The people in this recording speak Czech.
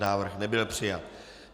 Návrh nebyl přijat.